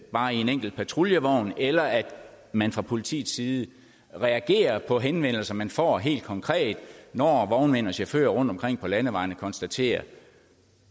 bare en enkelt patruljevogn eller at man fra politiets side reagerer på henvendelser man får helt konkret når vognmænd og chauffører rundtomkring på landevejene konstaterer